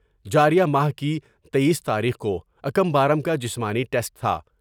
جار یہ ماہ کی تییس تاریخ کو اکم بارم کا جسمانی ٹمیٹ تھا۔